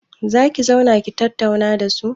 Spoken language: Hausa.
Za ki zauna ki tattauna da su?